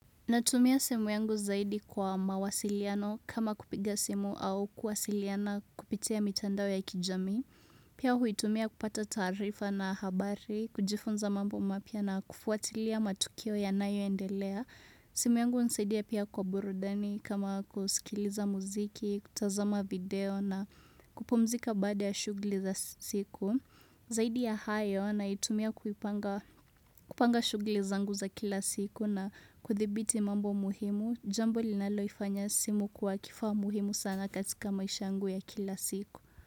Natumia simu yangu zaidi kwa mawasiliano kama kupiga simu au kuwasiliana kupitia mitandao ya kijamii. Pia huitumia kupata taarifa na habari, kujifunza mambo mapya na kufuatilia matukio yanayoendelea. Simu yangu hunisaidia pia kwa burudani kama kusikiliza muziki, kutazama video na kupumzika baad ya shughuli za siku. Zaidi ya hayo naitumia kupanga shughuli zangu za kila siku na kuthibiti mambo muhimu, jambo linalofanya simu kuwa kifaa muhimu sana katika maisha yangu ya kila siku.